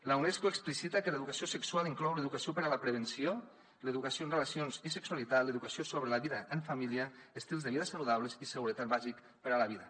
la unesco explicita que l’educació sexual inclou l’educació per a la prevenció l’educació en relacions i sexualitat l’educació sobre la vida en família estils de vida saludables i seguretat bàsica per a la vida